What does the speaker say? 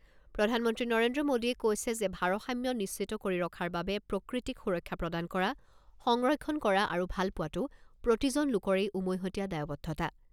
প্ৰধানমন্ত্ৰী নৰেন্দ্ৰ মোদীয়ে কৈছে যে ভাৰসাম্য নিশ্চিত কৰি ৰখাৰ বাবে প্ৰকৃতিক সুৰক্ষা প্ৰদান কৰা, সংৰক্ষণ কৰা আৰু ভালপোৱাটো প্ৰতিজন লোকৰেই উমৈহতীয়া দায়বদ্ধতা।